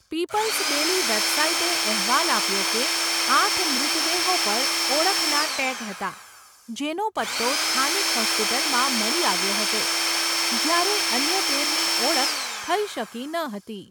People's daily વેબસાઈટે અહેવાલ આપ્યો કે, આઠ મૃતદેહો પર ઓળખના ટેગ હતા, જેનો પત્તો સ્થાનિક હોસ્પિટલમાં મળી આવ્યો હતો, જ્યારે અન્ય તેરની ઓળખ થઈ શકી ન હતી.